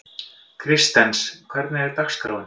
Kristens, hvernig er dagskráin?